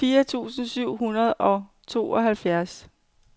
fire tusind syv hundrede og tooghalvfjerds